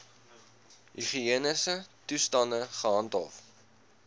higiëniese toestande gehandhaaf